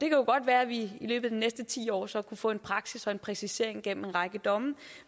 jo godt være at vi i løbet af de næste ti år så kunne få en praksis og en præcisering gennem en række domme